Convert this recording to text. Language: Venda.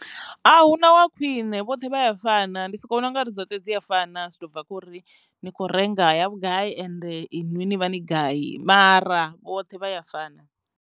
A huna wa khwine vhoṱhe vha ya fana ndi soko vhona u nga ri dzoṱhe dzi a fana zwi to bva khori ni kho renga ya vhugai and inwi ni vha ni gai mara vhoṱhe vha ya fana.